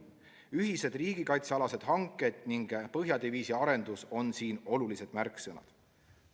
Ühised riigikaitsealased hanked ning põhjadiviisi arendus on siin olulised märksõnad.